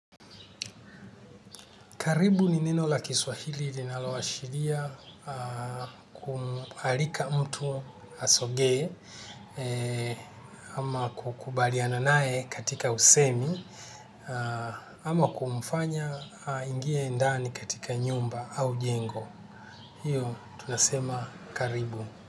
Karibu ni nine la kiswahili linaloa shiria kuarika mtu asogee ama kukubaliana nae katika usemi ama kumfanya aingie ndani katika nyumba au jengo. Hiyo tunasema karibu.